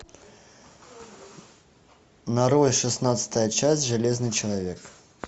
нарой шестнадцатая часть железный человек